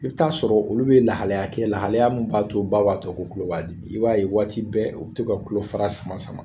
I bi taa sɔrɔ olu be lahalaya kɛ lahalaya min b'a to baba tɔ u tulo b'a dimi. I b'a ye waati bɛɛ u be to ka tulo fara sama sama.